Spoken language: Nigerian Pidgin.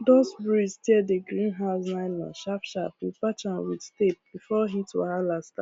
dust breeze tear the green house nylon sharp sharp we patch am with tape before heat wahala